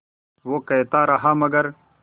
वो कहता रहा मगर